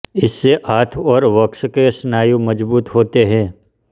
इससे हाथ और वक्ष के स्नायु मजबूत होते हैं